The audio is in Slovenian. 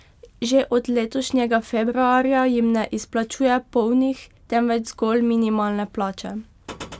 Že od letošnjega februarja jim ne izplačuje polnih, temveč zgolj minimalne plače.